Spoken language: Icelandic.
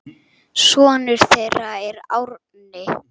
Sonur þeirra er Árni.